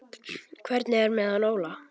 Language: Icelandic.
Hvernig er með hann Óla?